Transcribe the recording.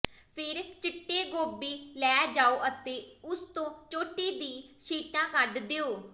ਫਿਰ ਚਿੱਟੇ ਗੋਭੀ ਲੈ ਜਾਓ ਅਤੇ ਉਸ ਤੋਂ ਚੋਟੀ ਦੀਆਂ ਸ਼ੀਟਾਂ ਕੱਢ ਦਿਓ